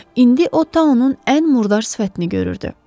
İndi o Tanın ən murdar sifətini görürdü.